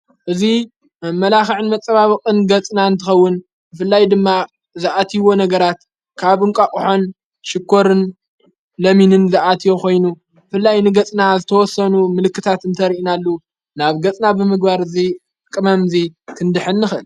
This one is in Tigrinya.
እዙይ ብመላኽዕን መጸባበቕን ገጽና እንትኸውን ፍላይ ድማ ዝኣትይዎ ነገራት ካብ ንቋ ቕሓን ሽኮርን ለሚንን ዝኣት ዮ ኾይኑ ፍላይ ንገጽና ዝተወሰኑ ምልክታት እንተርእናሉ ናብ ገጽና ብምግባር እዙይ ቕመምዙይ ክንድኅንኽን።